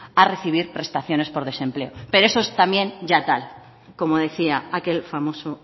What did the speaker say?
a recibir prestaciones por desempleo pero eso es también ya tal como decía aquel famoso